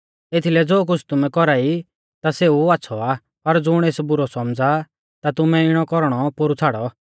एथीलै ज़ो कुछ़ तुमै कौरा ई ता सेऊ आच़्छ़ौ आ पर ज़ुण एस बुरौ सौमझ़ा ता तुमै इणौ कौरणौ पोरु छ़ाड़ौ